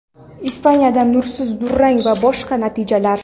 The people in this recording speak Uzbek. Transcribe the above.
Ispaniyada nursiz durang va boshqa natijalar.